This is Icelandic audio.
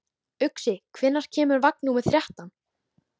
Uxi, hvenær kemur vagn númer þrettán?